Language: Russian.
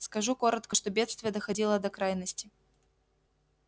скажу коротко что бедствие доходило до крайности